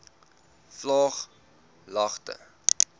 vlaaglagte